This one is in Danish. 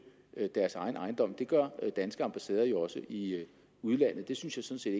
deres egen ejendom det gør danske ambassader jo også i udlandet det synes jeg